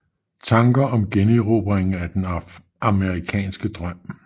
Tanker om generobringen af den amerikanske drøm